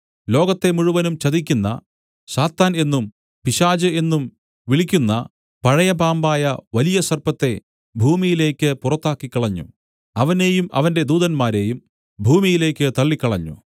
ലോകത്തെ മുഴുവനും ചതിക്കുന്ന സാത്താൻ എന്നും പിശാച് എന്നും വിളിക്കുന്ന പഴയ പാമ്പായ വലിയ സർപ്പത്തെ ഭൂമിയിലേക്കു പുറത്താക്കിക്കളഞ്ഞു അവനെയും അവന്റെ ദൂതന്മാരെയും ഭൂമിയിലേക്ക് തള്ളിക്കളഞ്ഞു